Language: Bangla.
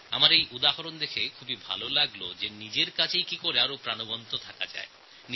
এই উদাহরণ দেখে আমার খুব ভাল লেগেছে এই ভেবে যে নিজের কাজের ভেতরও কীভাবে আন্তরিকতার স্পর্শ আনা যায় তা তিনি দেখিয়েছেন